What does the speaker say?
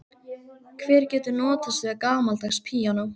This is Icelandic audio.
Hver getur notast við gamaldags píanó?